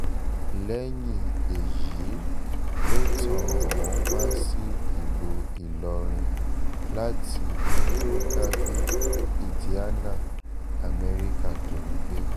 lẹ́yìn èyí ló tàn án wá sí ìlú ìlọrin láti mbrokerville indiana amẹ́ríkà tó ń gbé